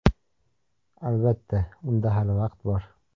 Albatta, unda hali vaqt bor.